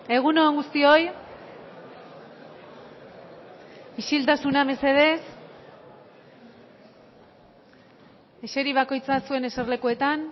egun on guztioi isiltasuna mesedez eseri bakoitza zuen eserlekuetan